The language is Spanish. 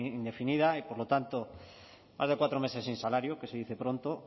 indefinida y por lo tanto hace cuatro meses sin salario que se dice pronto